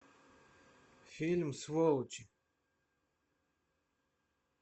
фильм сволочи